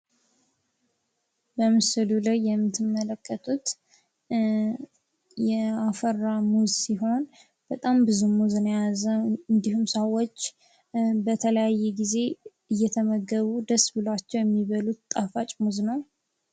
በምስሉ ላይ የምትመለከቱት ያፈራ ሙዝ ሲሆን፤ በጣም ብዙ ሙዝ ነው የያዘው። እንዲሁም ሰዎች በተለያየ ጊዜ እየተመገቡ ደስ ብሏቸው የሚበሉት ጣፋጭ ሙዝ ነው።